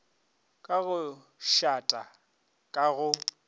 ka go tšhata ka go